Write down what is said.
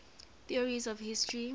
theories of history